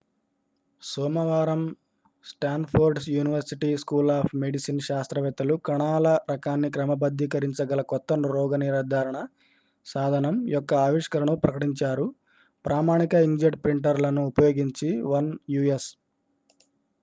సోమవారం Stanford university school of medicine శాస్త్రవేత్తలు కణాల రకాన్ని క్రమబద్ధీకరించగల కొత్త రోగనిర్ధారణ సాధనం యొక్క ఆవిష్కరణను ప్రకటించారు ప్రామాణిక ఇంక్జెట్ ప్రింటర్లను ఉపయోగించి 1 యు.ఎస్